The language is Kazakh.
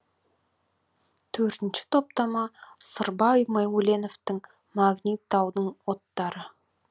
төртінші топтама сырбай мәуленовтың магнит таудың оттары